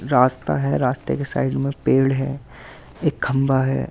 रास्ता है रास्ते के साइड में पेड़ है एक खंभा है।